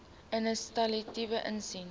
inisiatiewe insien